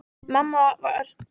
Mamma var svo skrýtin í augunum.